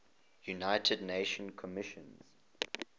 united nations commission